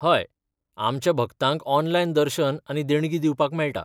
हय, आमच्या भक्तांक ऑनलायन दर्शन आनी देणगी दिवपाक मेळटा.